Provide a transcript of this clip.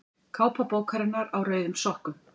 Kápa bókarinnar Á rauðum sokkum.